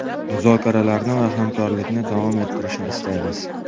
Muzokaralarni va hamkorlikni davom ettirishni istaymiz.